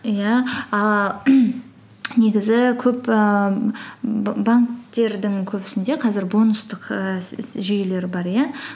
иә ааа негізі көп ііі банктердің көбісінде қазір бонустық ііі жүйелер бар иә